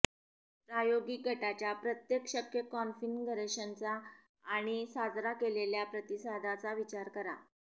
प्रायोगिक गटाच्या प्रत्येक शक्य कॉन्फिगरेशनचा आणि साजरा केलेल्या प्रतिसादाचा विचार करा